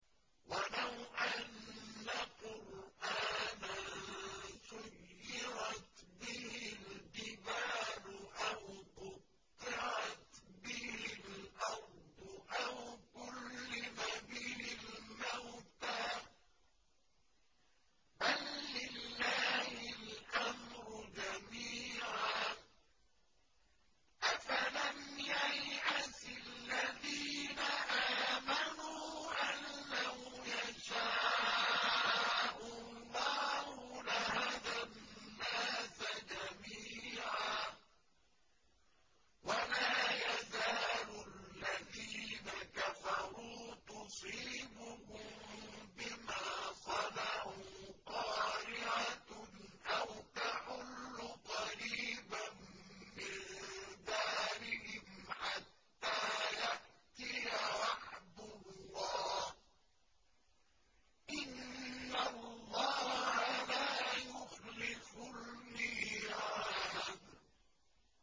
وَلَوْ أَنَّ قُرْآنًا سُيِّرَتْ بِهِ الْجِبَالُ أَوْ قُطِّعَتْ بِهِ الْأَرْضُ أَوْ كُلِّمَ بِهِ الْمَوْتَىٰ ۗ بَل لِّلَّهِ الْأَمْرُ جَمِيعًا ۗ أَفَلَمْ يَيْأَسِ الَّذِينَ آمَنُوا أَن لَّوْ يَشَاءُ اللَّهُ لَهَدَى النَّاسَ جَمِيعًا ۗ وَلَا يَزَالُ الَّذِينَ كَفَرُوا تُصِيبُهُم بِمَا صَنَعُوا قَارِعَةٌ أَوْ تَحُلُّ قَرِيبًا مِّن دَارِهِمْ حَتَّىٰ يَأْتِيَ وَعْدُ اللَّهِ ۚ إِنَّ اللَّهَ لَا يُخْلِفُ الْمِيعَادَ